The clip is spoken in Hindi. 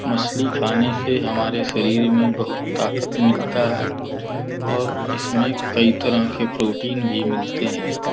मछली खाने से हमारे शरीर में बहोत ताकत मिलता है और इसमें कई तरह के प्रोटीन भी मिलते हैं।